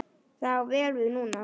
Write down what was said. Það á vel við núna.